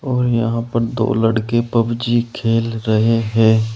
और यहां पर दो लड़के पबजी खेल रहे हैं।